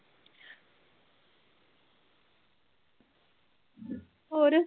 ਹੋਰ